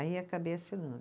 Aí acabei assinando.